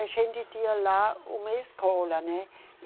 A gente tinha lá uma escola, né?